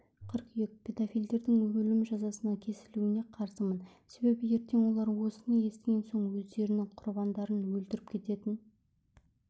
қыркүйек педофилдердің өлім жазасына кесілуіне қарсымын себебі ертең олар осыны естіген соң өздерінің құрбандарын өлтіріп кететін